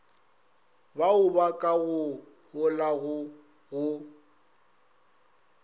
baoba ka go holago go